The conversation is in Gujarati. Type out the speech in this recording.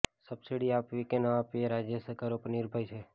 સબસિડી આપવી કે ન આપવી એ રાજ્ય સરકારો પર નિર્ભર છે